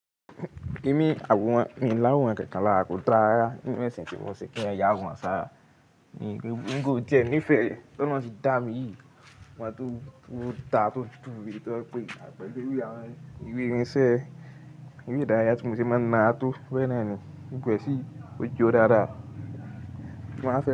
Èmi, àwòrán mi láwòrán kankan lára kò dára nínú ẹ̀sìn tí wọ́n ṣe pé kí èèyàn yà àwòrán ṣára. Nígbà tí ó díẹ̀ ní ìfẹ́, tọ́nà ti dá mi yìí, mo máa tó ń dá tó ń dúró, kí ó tó pè mí pẹ̀lú àwọn ìwé ìrìnsẹ̀, ìwé ìdárayá tí mo ti máa ń nara tó bénàá ni. Gbogbo ẹ sí ọjọ dada.